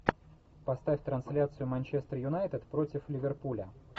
поставь трансляцию манчестер юнайтед против ливерпуля